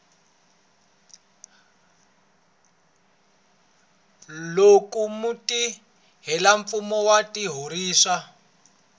loko mutirhelamfumo wa xiphorisa a